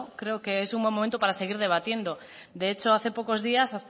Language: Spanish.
creo que es un buen momento para seguir debatiendo de hecho hace pocos días